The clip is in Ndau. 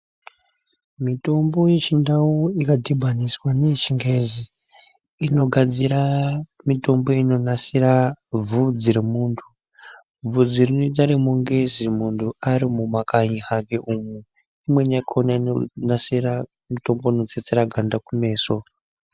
Mitombo yechindau ikadhibaniswa neyechingezi inogadzira mitombo inonasira bvudzi remuntu. Bvudzi rinoita remungezi muntu ari wemuma kanyi kanyi umwu imweni yakona mitombo inonasira kutsetsa ganda rekumeso.